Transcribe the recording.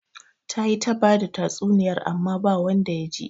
Ta yi ta bada tsatsuniyarta amma ba wanda ya ji